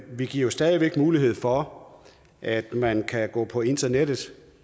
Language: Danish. vi giver stadig væk mulighed for at man kan gå på internettet